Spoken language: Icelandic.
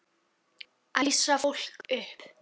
Æsa fólk upp?